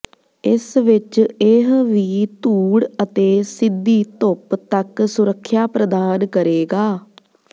ਇਸ ਵਿਚ ਇਹ ਵੀ ਧੂੜ ਅਤੇ ਸਿੱਧੀ ਧੁੱਪ ਤੱਕ ਸੁਰੱਖਿਆ ਪ੍ਰਦਾਨ ਕਰੇਗਾ